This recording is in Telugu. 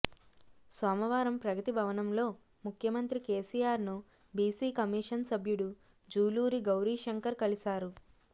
సోమవారం ప్రగతి భవనంలో ముఖ్యమంత్రి కేసీఆర్ను బీసీ కమిషన్ సభ్యుడు జూలూరి గౌరీ శంకర్ కలిశారు